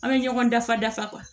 An bɛ ɲɔgɔn dafa dafa